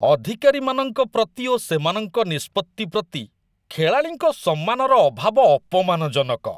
ଅଧିକାରୀମାନଙ୍କ ପ୍ରତି ଓ ସେମାନଙ୍କ ନିଷ୍ପତ୍ତି ପ୍ରତି ଖେଳାଳିଙ୍କ ସମ୍ମାନର ଅଭାବ ଅପମାନଜନକ।